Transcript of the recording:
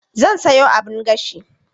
Zan sayo abun gashi.